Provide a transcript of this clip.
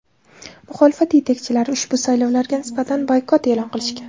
Muxolifat yetakchilari ushbu saylovlarga nisbatan boykot e’lon qilishgan.